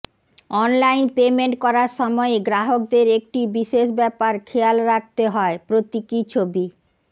online payment করার সময়ে গ্রাহকদের একটি বিশেষ ব্যাপার খেয়াল রাখতে হয় প্রতীকী ছবি